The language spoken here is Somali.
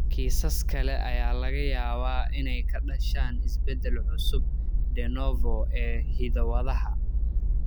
Kiisas kale ayaa laga yaabaa inay ka dhashaan isbeddel cusub (de novo) ee hidda-wadaha.